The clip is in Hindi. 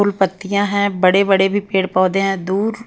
फुल पत्तियां हैं बड़े-बड़े भी पेड़-पौधे हैं दूर--